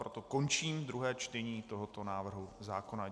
Proto končím druhé čtení tohoto návrhu zákona.